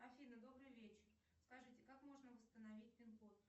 афина добрый вечер скажите как можно восстановить пин код